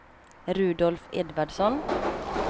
Rudolf Edvardsson